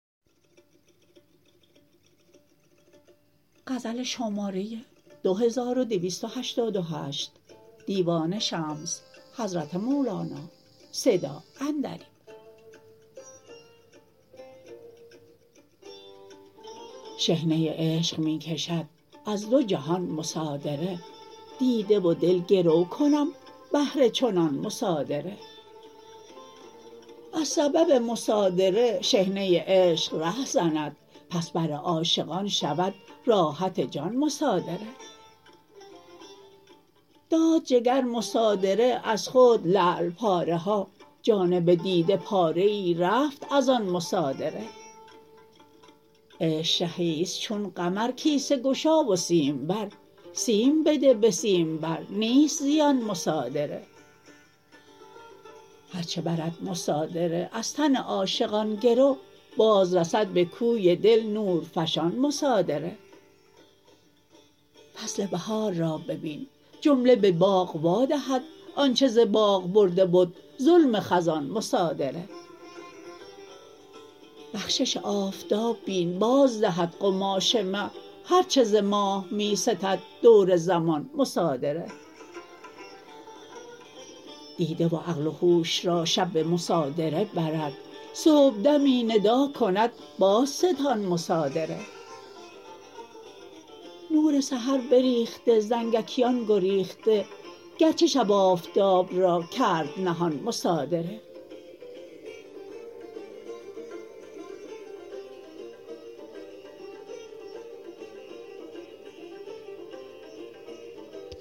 شحنه عشق می کشد از دو جهان مصادره دیده و دل گرو کنم بهر چنان مصادره از سبب مصادره شحنه عشق رهزند پس بر عاشقان شود راحت جان مصادره داد جگر مصادره از خود لعل پاره ها جانب دیده پاره ای رفت از آن مصادره عشق شهی است چون قمر کیسه گشا و سیم بر سیم بده به سیم بر نیست زیان مصادره هر چه برد مصادره از تن عاشقان گرو بازرسد به کوی دل نورفشان مصادره فصل بهار را ببین جمله به باغ وادهد آنچ ز باغ برده بد ظلم خزان مصادره بخشش آفتاب بین بازدهد قماش مه هر چه ز ماه می ستد دور زمان مصادره دیده و عقل و هوش را شب به مصادره برد صبحدمی ندا کند بازستان مصادره نور سحر بریخته زنگیکان گریخته گرچه شب آفتاب را کرد نهان مصادره